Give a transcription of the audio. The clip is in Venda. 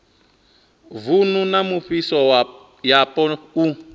vunu na mivhuso yapo u